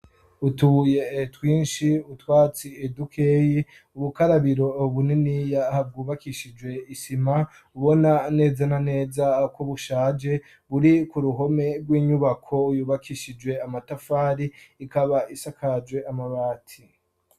Utubuye twinshi, utwatsi dukeyi, ubukarabiro buniniya bwubakishijwe isima ubona neza na neza ko bushaje buri ku ruhome rw'inyubako yubakishijwe amatafari ikaba isakajwe amabati.